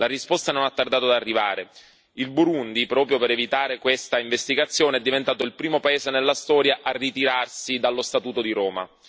La risposta non ha tardato ad arrivare il Burundi, proprio per evitare tale indagine, è diventato il primo paese nella storia a ritirarsi dallo Statuto di Roma.